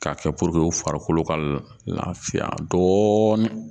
K'a kɛ puruke u farikolo ka lafiya dɔɔnin